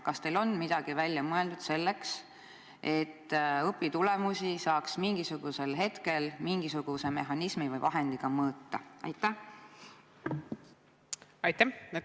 Kas teil on midagi välja mõeldud selleks, et õpitulemusi saaks mingisugusel hetkel mingisuguse mehhanismi või vahendiga mõõta?